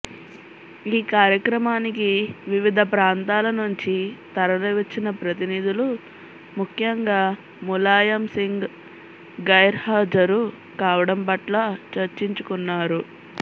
ఈ కార్యక్రమానికి వివిధ ప్రాంతాల నుంచి తరలివచ్చిన ప్రతినిధులు ముఖ్యంగా ములాయం సింగ్ గైర్హాజరు కావడం పట్ల చర్చించుకున్నారు